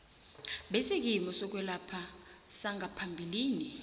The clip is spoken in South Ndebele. besikimu sokwelapha sangaphambilini